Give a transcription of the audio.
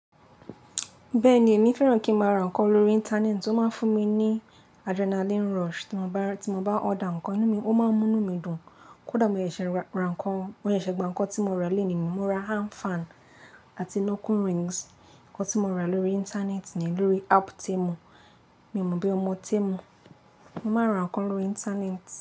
Bẹ́ẹ̀ni èmi fẹ́ràn kí ń máa ra ǹkan lórí Íńtánẹ́ẹ̀tì, ó máa ń fún mi ní adrenaline rush tí mo bá, tí mo bá order ǹkan nínú mi ó máa ń mú mí dùn. Kódà mo ṣẹ̀ṣẹ̀ ra ra ǹkan, mo ṣẹ̀ṣẹ̀ gba ǹkan tí mo ra lénì mí, mo ra hand fan àti knuckle rings, ǹkan tí mo ra lórí Íńtánẹ́ẹ̀tì ni, lórí app Temu. Mii mọ̀ boya o mọ Temu. Mo máa ń ra ǹkan lórí Íńtánẹ́ẹ̀tì.